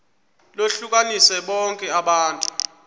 lohlukanise bonke abantu